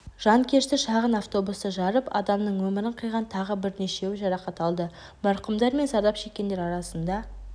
жанкешті шағын автобусты жарып адамның өмірін қиған тағы бірнешеуі жарақат алды марқұмдар мен зардап шеккендер арасында